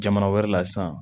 Jamana wɛrɛ la sisan